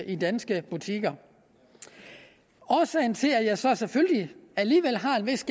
i danske butikker årsagen til at jeg så selvfølgelig alligevel har en vis